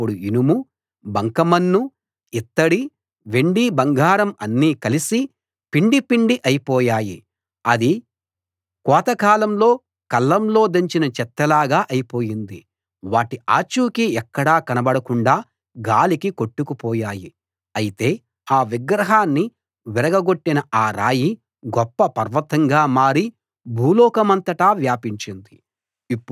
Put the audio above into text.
అప్పుడు ఇనుము బంకమన్ను ఇత్తడి వెండి బంగారం అన్నీ కలిసి పిండిపిండి అయిపోయాయి అది కోతకాలంలో కళ్ళంలో దంచిన చెత్తలాగా అయిపోయింది వాటి ఆచూకీ ఎక్కడా కనబడకుండా గాలికి కొట్టుకుపోయాయి అయితే ఆ విగ్రహాన్ని విరగగొట్టిన ఆ రాయి గొప్ప పర్వతంగా మారి భూలోకమంతటా వ్యాపించింది